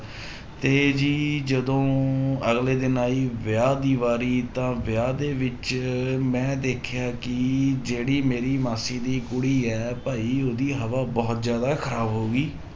ਤੇ ਜੀ ਜਦੋਂ ਅਗਲੇ ਦਿਨ ਆਈ ਵਿਆਹ ਦੀ ਵਾਰੀ ਤਾਂ ਵਿਆਹ ਦੇ ਵਿੱਚ ਮੈਂ ਦੇਖਿਆ ਕਿ ਜਿਹੜੀ ਮੇਰੀ ਮਾਸੀ ਦੀ ਕੁੜੀ ਹੈ ਭਾਈ ਉਹਦੀ ਹਵਾ ਬਹੁਤ ਜ਼ਿਆਦਾ ਖ਼ਰਾਬ ਹੋ ਗਈ